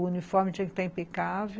O uniforme tinha que estar impecável.